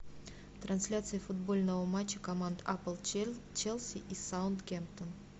трансляция футбольного матча команд апл челси и саутгемптон